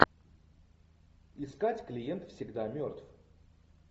искать клиент всегда мертв